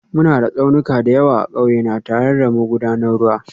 Muna da tsaunuka da yawa a ƙauye na, tare da magudanan ruwa